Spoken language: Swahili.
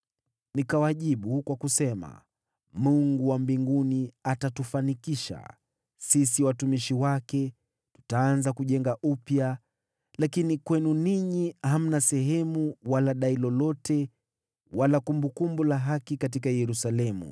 Nikawajibu kwa kusema, “Mungu wa mbinguni atatufanikisha. Sisi watumishi wake tutaanza kujenga upya, lakini kwenu ninyi, hamna sehemu wala dai lolote wala kumbukumbu la haki katika Yerusalemu.”